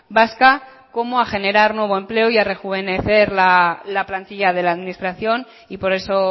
vasca como a generar nuevo empleo y a rejuvenecer la plantilla de la administración y por eso